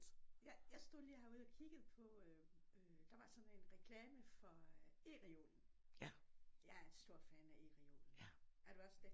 Ja jeg stod lige herude og kiggede på øh der var sådan en reklame for øh E-reolen jeg er stor fan af E-reolen er du også det?